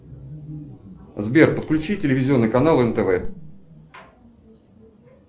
сбер подключи телевизионный канал нтв